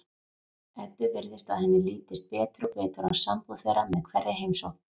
Eddu virðist að henni lítist betur og betur á sambúð þeirra með hverri heimsókn.